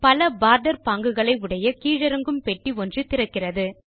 பல போர்டர் பாங்குகளை உடைய கீழிறங்கும் பெட்டி ஒன்று திறக்கிறது